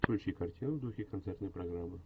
включи картину в духе концертной программы